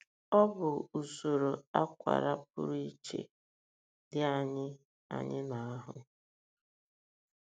Ọ bụ usoro akwara pụrụ iche dị anyị anyị n’ahụ́.